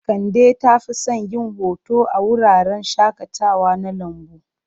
Kande ta fi son yin hoto a wuraren shakatawa na lambu.